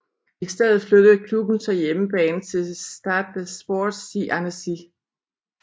I stedet flyttede klubben så hjemmebane til Stade des Sports i Annecy